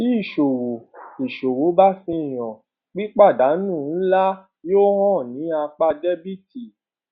ti iṣowo iṣowo ba fihan pipadanu nla yoo han ni apa debiti